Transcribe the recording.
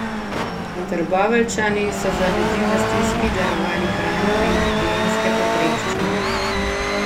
Trboveljčani so za ljudi v stiski darovali hrano in higienske potrebščine.